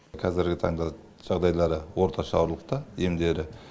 қазіргі таңда жағдайлары орташа ауырлықта емдері